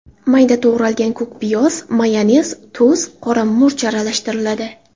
Mayda to‘g‘ralgan ko‘k piyoz, mayonez, tuz, qora murch aralashtiriladi.